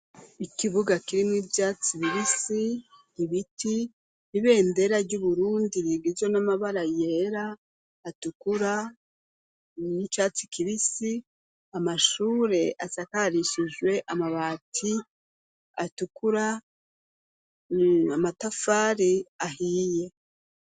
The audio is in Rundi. Ikibuga kiri mu ivyatsi bibisi, ibiti, ibendera ry'Uburundi, rigizwe n'amabara yera, atukura, n'icatsi kibisi, amashure asakarishijwe amabati atukura, amatafari ahiye.